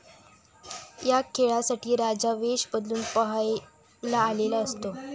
या खेळासाठी राजा वेष बदलून पहायला आलेला असतो.